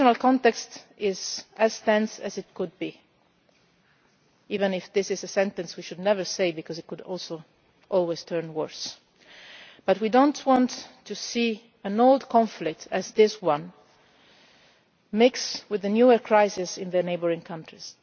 The regional context is as tense as it could be, even if this is a sentence we should never say because it could always turn worse. We do not want to see an old conflict such as this one mix with a newer crisis in the neighbouring countries.